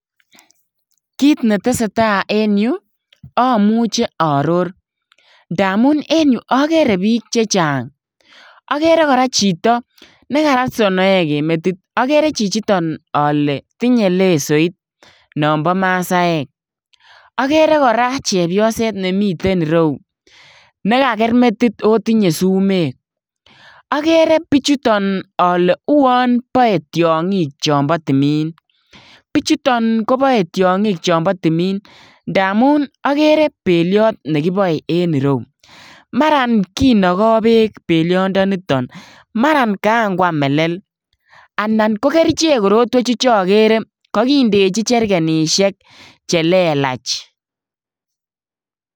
Kit netesetai eng yu , amuchi aoror ndamun eng yu akere biik chechang akere kora chito nekarat sonoek en metit, akere chichiton ale karat lesoit nonpo masaek, akere kora chepyoset nemiten reu nekaker metit akotinye sumek, akere bichuton ale uon boe tiong'ik chopo tumin. Bichuton kopoe tiong'ik chopo tumin akere peliot nekipoe eng reyu mara kinoken beek peliondoni, maran kankwam melel anan ko kerichek korotwechu chokere kakindechi cherkenishek chelelach.